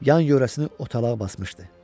Yan-yörəsini otalağa basmışdı.